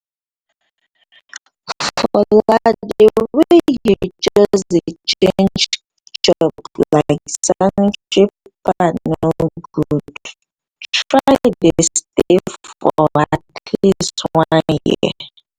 fola the way you way you just dey change job like sanitary pad no good try dey stay for atleast one year